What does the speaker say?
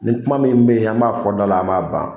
Nin kuma min bɛ yen an b'a fɔ da la an b'a ban